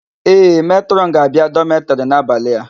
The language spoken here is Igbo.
Ee, Metrọn ga-abia dọmetịrị n'abalị a.